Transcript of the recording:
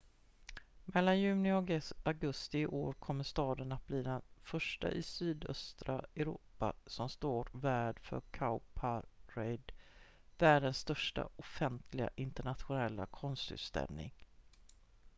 mellan juni och augusti i år kommer staden att bli den första i sydöstra europa som står värd för cowparade världens största offentliga internationella konstutställning